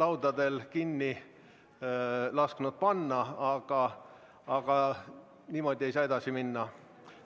laudadel kinni lasknud panna, aga niimoodi ei saa edasi minna.